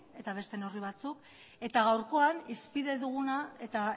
eta beste neurri batzuk eta gaurkoan hizpide duguna eta